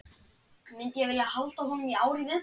Myndi ég vilja halda honum í ár í viðbót?